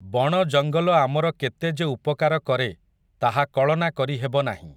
ବଣ ଜଙ୍ଗଲ ଆମର କେତେ ଯେ ଉପକାର କରେ, ତାହା କଳନା କରି ହେବ ନାହିଁ ।